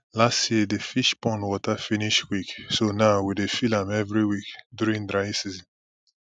last year the fish pond water finish quick so now we dey fill am every week during dry season